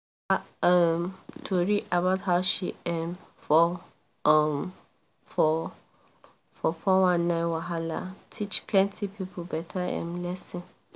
her um tori about how she um fall um fall for 419 wahala teach plenty people better um lesson.